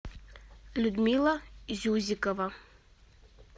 людмила зюзикова